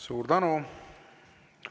Suur tänu!